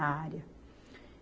A área.